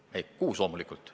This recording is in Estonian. Ei, loomulikult 6% kohta.